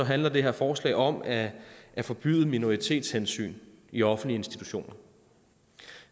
handler det her forslag om at forbyde minoritetshensyn i offentlige institutioner